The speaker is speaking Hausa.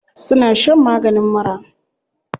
Suna shan maganin mura.